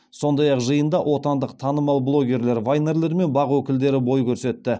сондай ақ жиында отандық танымал блогерлер вайнерлер мен бақ өкілдері бой көрсетті